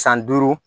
San duuru